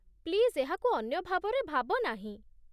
Please ଏହାକୁ ଅନ୍ୟ ଭାବରେ ଭାବ ନାହିଁ।